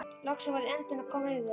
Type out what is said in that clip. Loksins var andinn að koma yfir hann!